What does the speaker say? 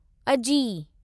अजी